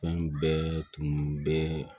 Fɛn bɛɛ tun bɛ